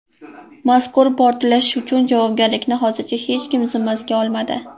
Mazkur portlash uchun javobgarlikni hozircha hech kim zimmasiga olmadi.